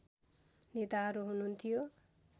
नेताहरू हुनुहुन्थ्यो